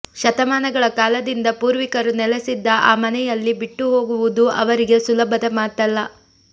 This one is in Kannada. ಶತಮಾನಗಳ ಕಾಲದಿಂದ ಪೂರ್ವಿಕರು ನೆಲೆಸಿದ್ದ ಆ ಮನೆಯಲ್ಲಿ ಬಿಟ್ಟು ಹೋಗುವುದು ಅವರಿಗೆ ಸುಲಭದ ಮಾತಲ್ಲ